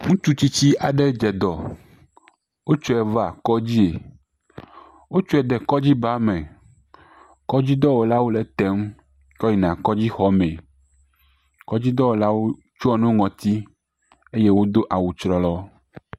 Ŋutsu tsitsi aɖe dze dɔ, wotsɔe va kɔdzie, wotsɔe de kɔdzi ba me, kɔdzidɔwɔlawo le etem kɔyina kɔdzixɔmee, kɔdzidɔwɔlawo ɖɔ nu ɖe ŋɔti eye wodo awu trɔlɔ.